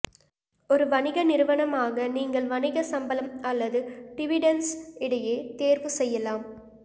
ஒரு வணிக நிறுவனமாக நீங்கள் வணிக சம்பளம் அல்லது டிவிடென்ட்ஸ் இடையே தேர்வு செய்யலாம்